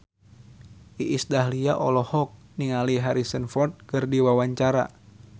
Iis Dahlia olohok ningali Harrison Ford keur diwawancara